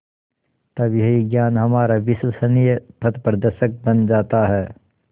तब यही ज्ञान हमारा विश्वसनीय पथप्रदर्शक बन जाता है